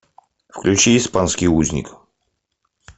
включи испанский узник